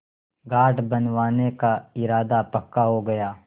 घाट बनवाने का इरादा पक्का हो गया